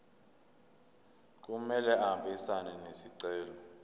kumele ahambisane nesicelo